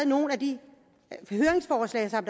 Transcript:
nogle af de høringsforslag der er